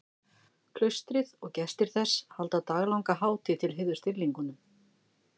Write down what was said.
Klaustrið og gestir þess halda daglanga hátíð til heiðurs dýrlingnum.